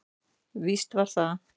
Víst var það.